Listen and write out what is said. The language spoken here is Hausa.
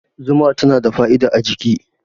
Zuma tana da fa'ida a jiki